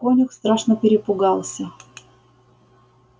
конюх страшно перепугался